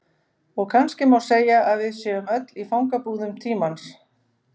Og kannski má segja að við séum öll í fangabúðum tímans.